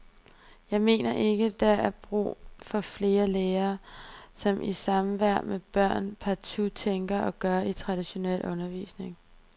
Jeg mener ikke der er brug for flere lærere, som i samværet med børn partout tænker og gør i traditionel undervisning.